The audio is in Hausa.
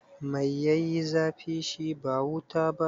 Mai ya yi zafi, shi ba wuta ba?